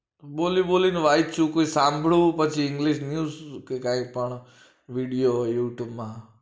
બોલી બોલી ને વાચ્યું પછી સાંભળ્યું પછી english news કે કઈ પણ video youtube માં